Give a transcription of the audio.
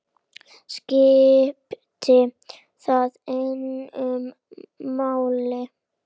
Skiptir það engu máli?